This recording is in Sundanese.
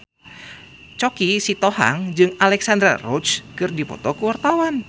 Choky Sitohang jeung Alexandra Roach keur dipoto ku wartawan